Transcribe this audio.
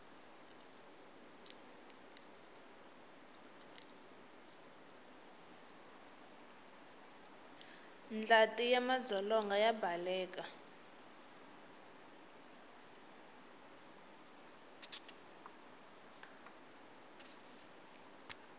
ndlati ya madzolonga ya baleka